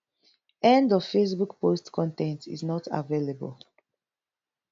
end of facebook post con ten t is not available